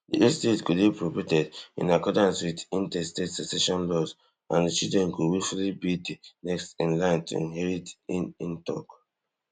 di estate go dey probated in accordance wit intestate succession laws and di children go weyfully be di next in line to inherit in in tok